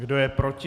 Kdo je proti?